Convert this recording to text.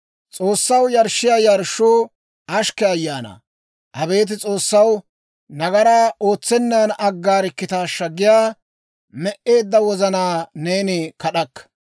S'oossaw yarshshiyaa yarshshuu ashkke ayaanaa; abeet S'oossaw, «Nagaraa ootsennan aggaarikkitaashaa» giyaa, me"eedda wozanaa neeni kad'akka.